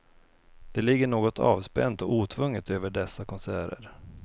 Det ligger något avspänt och otvunget över dessa konserter.